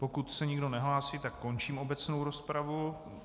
Pokud se nikdo nehlásí, tak končím obecnou rozpravu.